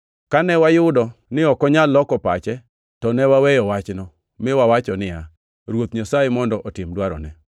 Kane wayudo ni ok onyal loko pache, to ne waweyo wachno, mi wawacho niya, “Ruoth Nyasaye mondo otim dwarone.”